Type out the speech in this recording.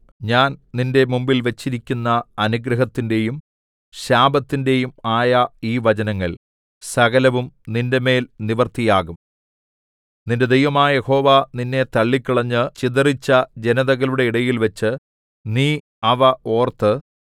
ഞാൻ നിന്റെ മുമ്പിൽ വച്ചിരിക്കുന്ന അനുഗ്രഹത്തിന്റെയും ശാപത്തിന്റെയും ആയ ഈ വചനങ്ങൾ സകലവും നിന്റെമേൽ നിവൃത്തിയാകും നിന്റെ ദൈവമായ യഹോവ നിന്നെ തള്ളിക്കളഞ്ഞ് ചിതറിച്ച ജനതകളുടെ ഇടയിൽവച്ച് നീ അവ ഓർത്ത്